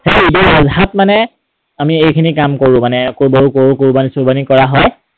সেই ঈদ উল আধাত মানে আমি এইখিনি কাম কৰো মানে গৰু কোৰৱানী কৰা হয়।